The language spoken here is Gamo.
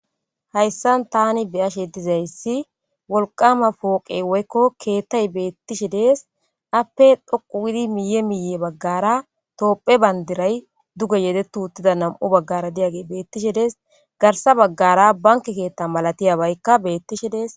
Hayissan tani beyashshe dizayissi wolqama poqey woyikko keththay betishshe des appe dhoqu gidi miye miye bagara tophphiya bandira duge nam'u bagara yedeti uridagey betishshe des garsa bagara banke keththa malatiyagayikka betishshe des